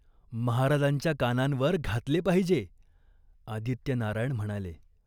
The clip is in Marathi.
महाराजांच्या कानांवर घातले पाहिजे." आदित्यनारायण म्हणाले.